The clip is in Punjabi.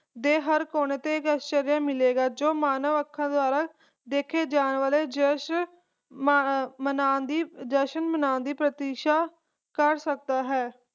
ਦੇ ਹਰ ਕੋਨੇ ਤੇ ਇਕ ਆਸ਼ਚਾਰ੍ਯ ਮਿਲੇਗਾ ਜੋ ਮਾਨਵ ਅੱਖਾਂ ਦੁਆਰਾ ਦੇਖੇ ਜਾਂ ਵਾਲੇ ਜਸ਼ਨ ਮਨਾਂ ਦੀ ਜਸ਼ਨ ਮਨਾਂ ਦੀ ਪ੍ਰਤਿਸ਼ਾ ਕਰ ਸਕਦਾ ਹੈ